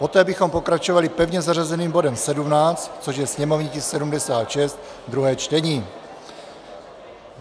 Poté bychom pokračovali pevně zařazeným bodem 17, což je sněmovní tisk 76, druhé čtení.